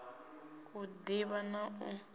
u d ivha na u